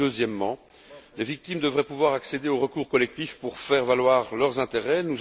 Deuxièmement, les victimes devraient pouvoir accéder aux recours collectifs pour faire valoir leurs intérêts.